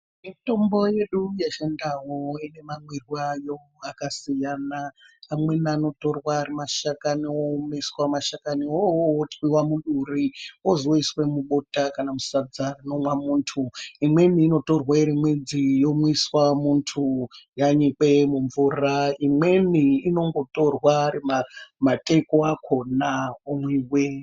Mitombo yedu yechindau inemamwirwo ayo akasiyana amweni anotorwa ari mashakani oomeswa mashakaniwo awawo otwiwa muduri ozoiswa mubota kana musadza rinomwa muntu imweni inotorwa iri midzi yomiswa muntu yanyikwe mumvura imweni inongotorwa ari mateko akona omwiwa.